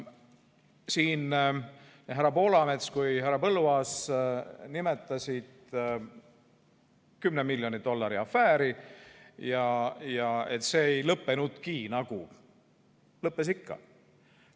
Nii härra Poolamets kui ka härra Põlluaas nimetasid 10 miljoni dollari afääri ja et see nagu ei lõppenudki.